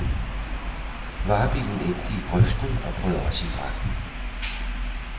Varebilen endte i grøften og brød også i brand.